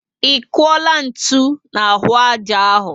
I kuola ntụ n'ahụ ájá áhù?